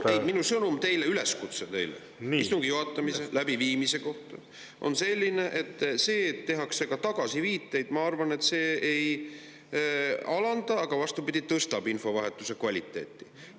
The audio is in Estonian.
Ei, minu sõnum teile, üleskutse teile istungi juhatamise, läbiviimise kohta on selline: see, et tehakse ka tagasiviiteid, ma arvan, mitte ei alanda, vaid vastupidi, tõstab infovahetuse kvaliteeti.